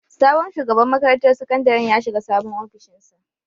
Sabon shugaban makarantar sakandaren ya shiga sabon ofishinsa.